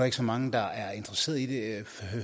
ikke så mange der er interesseret i det